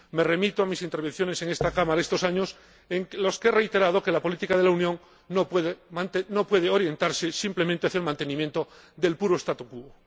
Me remito a mis intervenciones en esta Cámara estos años, en los que he reiterado que la política de la Unión no puede orientarse simplemente hacia el mantenimiento del puro statu quo